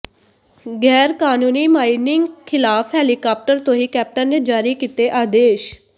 ਗ਼ੈਰਕਾਨੂੰਨੀ mining ਖਿਲਾਫ helicopter ਤੋਂ ਹੀ ਕੈਪਟਨ ਨੇ ਜਾਰੀ ਕੀਤੇ ਆਦੇਸ਼